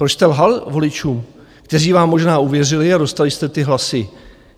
Proč jste lhal voličům, kteří vám možná uvěřili, a dostali jste ty hlasy?